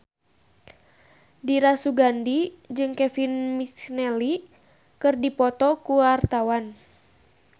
Dira Sugandi jeung Kevin McNally keur dipoto ku wartawan